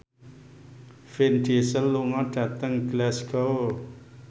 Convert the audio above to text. Vin Diesel lunga dhateng Glasgow